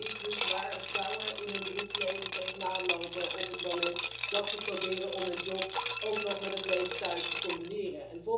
Dat is dus waar vrouwen in hun beroepsleven tegenaan lopen op het moment dat ze proberen om hun job met het leven thuis te combineren.